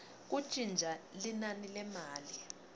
kuntintja linani lemali